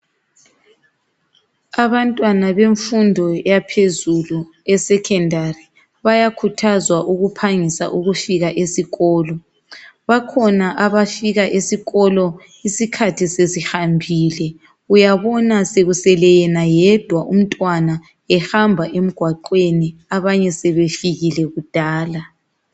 abantwana bemfundo yaphezulu e secondary bayakhuthazwa ukuhangisa ukufika esikolo bakhonaabafika esikolo isikhathi sesihambile uyabona skusele yena yedwa umntwana ehamba emgwaqweni abanye sebefikile kudala